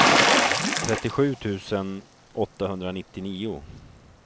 trettiosju tusen åttahundranittionio